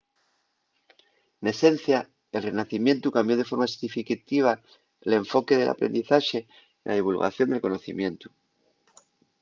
n’esencia el renacimientu cambió de forma significativa l’enfoque del aprendizaxe y la divulgación del conocimientu